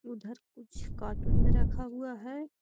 उधर कुछ कार्टून में रखा हुआ है।